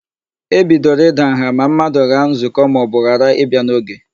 E bidoro ịda nha ma mmadụ ghaa nzụkọ maọbụ ghara ịbịa n'oge.